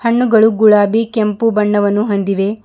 ಹಣ್ಣುಗಳು ಗುಲಾಬಿ ಕೆಂಪು ಬಣ್ಣವನ್ನು ಹೊಂದಿವೆ.